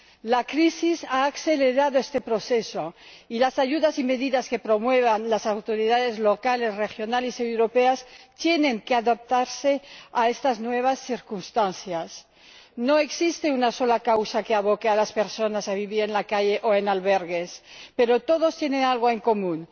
La crisis ha acelerado este proceso y las ayudas y medidas que promuevan las autoridades locales, regionales y europeas tienen que adaptarse a estas nuevas circunstancias. No existe una sola causa que aboque a las personas a vivir en la calle o en albergues, pero todas ellas tienen algo en común